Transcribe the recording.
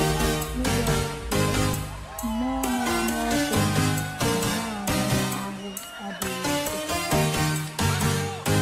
Jizọs sịrị: “ Mmụọ na - anụ ọkụ, ma anụ ahụ́ adịghị ike. ”